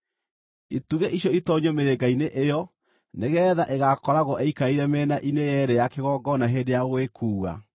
Itugĩ icio itoonyio mĩrĩnga-inĩ ĩyo nĩgeetha ĩgakoragwo ĩikarĩire mĩena-inĩ yeerĩ ya kĩgongona hĩndĩ ya gũgĩkuua.